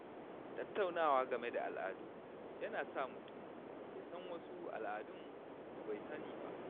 Tattaunawa game da al’adu yana sa mutum ya san wasu Al'adun da bai sani ba.